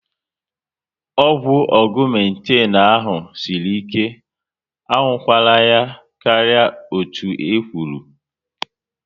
Ọgwụ Ọgumetin ahụ sịrị ike, a nwụkwara ya karịa otú e kwụrụ